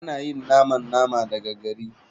Ana yin naman nama daga gari.